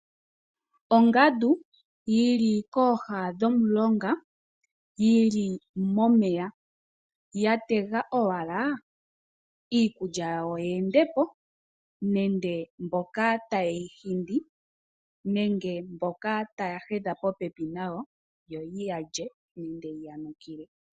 Ongadu, yili kooha dho mulonga, yili momeya ya tega owala iikulya yawo yeendopo nenge mboka ta yeyi hindi, nenge mboka taya hedha po pepi nayo yo ye yalye nenge ye ya nukile.